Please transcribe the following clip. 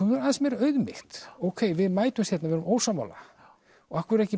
aðeins meiri auðmýkt ókei við mætumst hérna og við erum ósammála og af hverju ekki